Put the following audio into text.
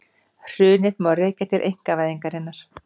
Hrunið má rekja til einkavæðingarinnar